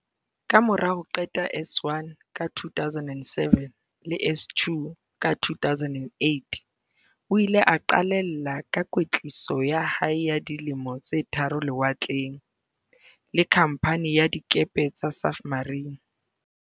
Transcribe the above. Kamora ho qeta S1 ka 2007 le S2 ka 2008, o ile a qalella ka kwetliso ya hae ya di lemo tse tharo lewatleng, le Khamphani ya Dikepe tsa Safmarine.